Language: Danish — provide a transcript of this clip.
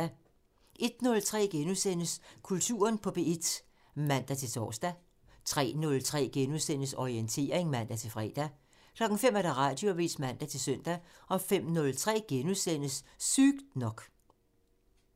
01:03: Kulturen på P1 *(man-tor) 03:03: Orientering *(man-fre) 05:00: Radioavisen (man-søn) 05:03: Sygt nok *(man)